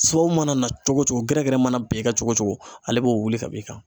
Sababu mana na cogo o cogo gɛrɛgɛrɛ mana ben e kan cogo cogo ale b'o wuli ka b'i kan.